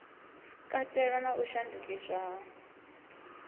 katela na u shandukiswa ha